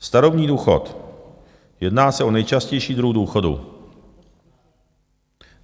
Starobní důchod - jedná se o nejčastější druh důchodu.